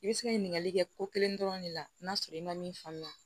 I bɛ se ka ɲininkali kɛ ko kelen dɔrɔn de la n'a sɔrɔ i ma min faamuya